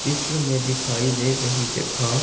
चित्र में दिखाई दे रही जगह--